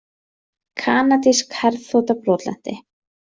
Kanadísk herþota brotlenti